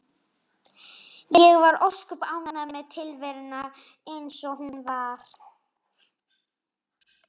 Ég var ósköp ánægð með tilveruna eins og hún var.